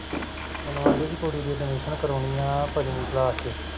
ਮੈਨੂੰ ਆਦੀ ਪੀ ਕੁੜੀ ਦੀ admission ਕਰਵਾਉਣੀਆਂ ਪੰਜਵੀਂ class ਚ